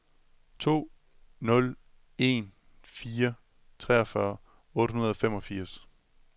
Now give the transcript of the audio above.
to nul en fire treogfyrre otte hundrede og femogfirs